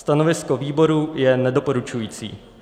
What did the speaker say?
Stanovisko výboru je nedoporučující.